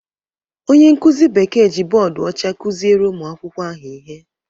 Onye nkụzi Bekee ji bọọdụ ọcha kụziere ụmụ akwụkwọ ahụ ihe.